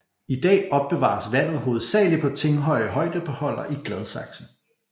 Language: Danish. I dag opbevares vandet hovedsagelig på Tinghøj Højdebeholder i Gladsaxe